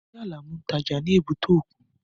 Ṣé Alamu ń tà ní èbúté òkun?